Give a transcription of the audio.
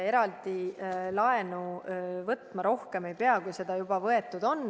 Eraldi laenu võtma rohkem ei pea, kui seda juba võetud on.